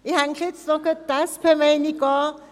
Ich hänge auch noch gleich die SP-Meinung an: